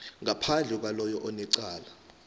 ngaphandle kwaloyo onecala